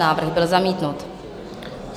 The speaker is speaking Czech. Návrh byl zamítnut.